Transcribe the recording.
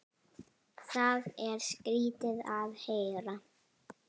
Það er skrýtið að heyra.